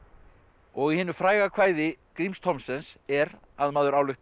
og í hinu fræga kvæði Gríms Thomsens er að maður ályktar